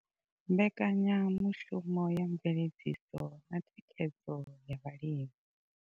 Mbekanyamushumo ya mveledziso na thikhedzo ya vhalimi.